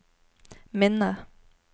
minne